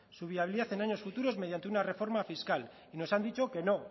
su viabilidad en años futuros mediante una reforma fiscal y nos han dicho que no